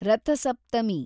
Ratha Saptami